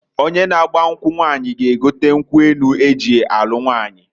Onye na agba nkwu nwaanyi g'egote nkwu enu eji alu nwaanyi.